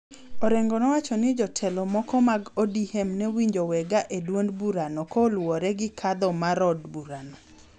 Orengo nowacho ni jotelo moko mag ODM ne winjo wega e duond burano kaluwore gi kadho marod burano